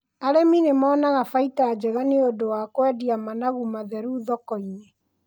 Arĩmi nĩ monaga baita njega nĩ ũndũ wa kũendia managu matheru thoko-inĩ.